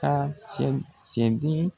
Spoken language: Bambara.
Ta cɛni cɛden.